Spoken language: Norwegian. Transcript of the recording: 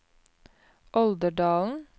Olderdalen